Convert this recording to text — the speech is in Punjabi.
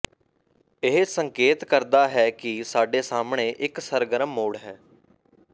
ਇਹ ਸੰਕੇਤ ਕਰਦਾ ਹੈ ਕਿ ਸਾਡੇ ਸਾਹਮਣੇ ਇਕ ਸਰਗਰਮ ਮੋੜ ਹੈ